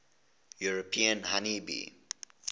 european honey bee